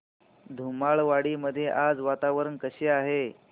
धुमाळवाडी मध्ये आज वातावरण कसे आहे